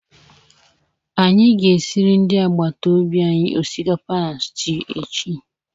Anyị ga-esiriri ndị agbata obi anyị osikapa na stwu echi